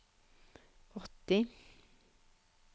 åtti